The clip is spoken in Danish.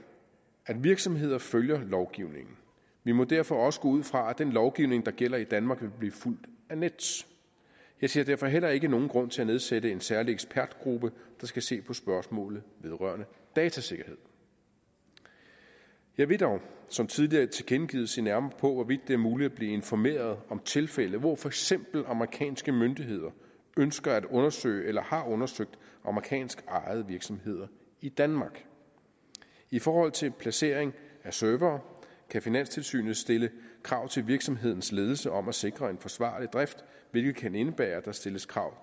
at virksomheder følger lovgivningen vi må derfor også gå ud fra at den lovgivning der gælder i danmark vil blive fulgt af nets jeg ser derfor heller ikke nogen grund til at nedsætte en særlig ekspertgruppe der skal se på spørgsmålet vedrørende datasikkerhed jeg vil dog som tidligere tilkendegivet se nærmere på hvorvidt det er muligt at blive informeret om tilfælde hvor for eksempel amerikanske myndigheder ønsker at undersøge eller har undersøgt amerikanskejede virksomheder i danmark i forhold til placering af servere kan finanstilsynet stille krav til virksomhedens ledelse om at sikre en forsvarlig drift hvilket kan indebære at der stilles krav